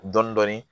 Dɔɔnin dɔɔnin